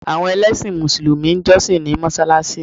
Àwọn ẹlẹ́sìn mùsùlùmí ń jọ́ṣì ní mọsáláṣí